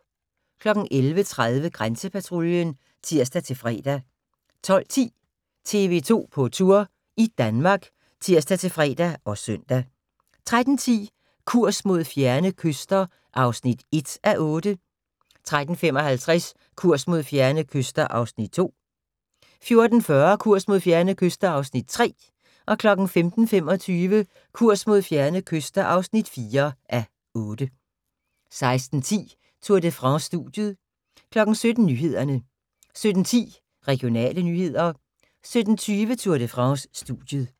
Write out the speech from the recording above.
11:30: Grænsepatruljen (tir-fre) 12:10: TV 2 på Tour – i Danmark (tir-fre og søn) 13:10: Kurs mod fjerne kyster (1:8) 13:55: Kurs mod fjerne kyster (2:8) 14:40: Kurs mod fjerne kyster (3:8) 15:25: Kurs mod fjerne kyster (4:8) 16:10: Tour de France: Studiet 17:00: Nyhederne 17:10: Regionale nyheder 17:20: Tour de France: Studiet